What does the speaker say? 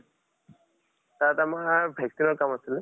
তাত আমাৰ vaccine ৰ কাম আছিল।